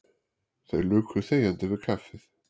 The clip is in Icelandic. Þeir luku þegjandi við kaffið.